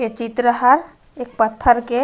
ए चित्र हा एक पत्थर के--